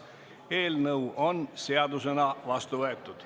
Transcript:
Eelnõu on seadusena vastu võetud.